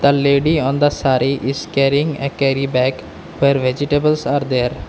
the lady on the saree is caring a carry bag for vegetables are there.